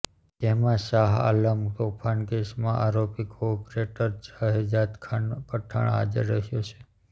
જેમાં શાહઆલમ તોફાનના કેસમાં આરોપી કોર્પોરેટર શહેજાદખાન પઠાણ હાજર રહ્યો છે